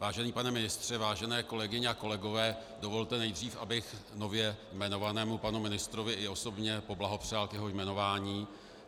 Vážený pane ministře, vážené kolegyně a kolegové, dovolte nejdřív, abych nově jmenovanému panu ministrovi i osobně poblahopřál k jeho jmenování.